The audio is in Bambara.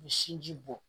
U bɛ sinji bɔ